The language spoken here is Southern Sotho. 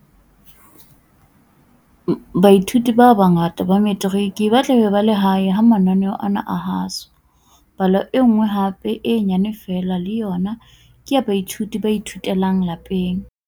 Baithuti ba bangata ba Metiriki ba tla be ba le hae ha mananeo ana a haswa. Palo e nngwe hape e nyane feela le yona ke ya baithuti ba ithutelang lapeng.